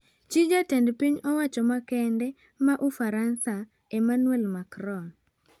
Chii jatend piny owacho makende ma Ufaransa Emmanuel Macron